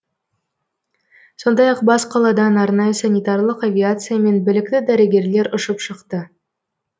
сондай ақ бас қаладан арнайы санитарлық авиациямен білікті дәрігерлер ұшып шықты